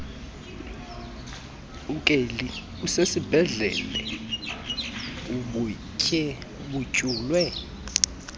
ukeli usesibhedlele udutyulwe